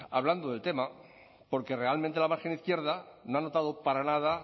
hablando del tema porque realmente la margen izquierda no ha notado para nada